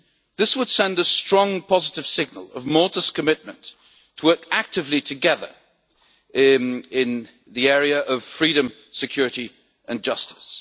This would send a strong positive signal of Malta's commitment to working actively together in the area of freedom, security and justice.